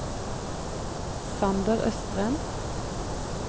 Sander Østrem